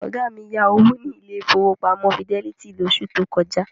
Ọ̀gá mi yá owó ní ilé ìfowópamọ́ Fidelity lóṣù tó kọjá.